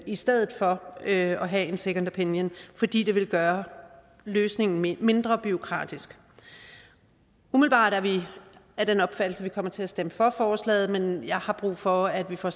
i stedet for at have en second opinion fordi det vil gøre løsningen mindre bureaukratisk umiddelbart er vi af den opfattelse at vi kommer til at stemme for forslaget men jeg har brug for at vi får